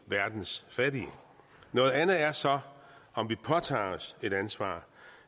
verdens fattige noget andet er så om vi påtager os et ansvar